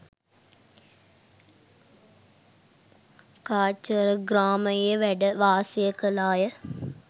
කාචරග්‍රාමයේ වැඩ වාසය කළා ය.